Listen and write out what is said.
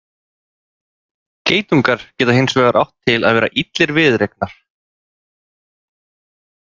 Geitungar geta hins vegar átt til að vera illir viðureignar.